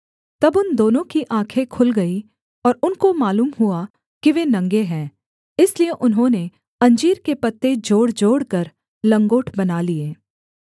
तब उन दोनों की आँखें खुल गईं और उनको मालूम हुआ कि वे नंगे हैं इसलिए उन्होंने अंजीर के पत्ते जोड़जोड़कर लंगोट बना लिये